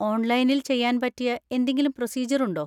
ഓൺലൈനിൽ ചെയ്യാൻ പറ്റിയ എന്തെങ്കിലും പ്രൊസീജ്യർ ഉണ്ടോ?